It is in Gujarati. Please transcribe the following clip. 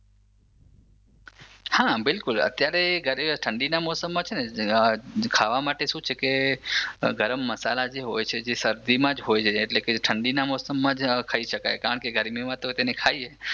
હા બિલકુલ અત્યારે ઘરે ઠંડીના મોસમમાં છે ને ખાવા માટે શું છે કે ગરમ મસાલા જે હોય છે જે શરદીમાં જ હોય છે ઠંડીના મોસમમાં જ ખઈ શકાય કારણ કે ગરમીમાં તો તેને ખાઈએ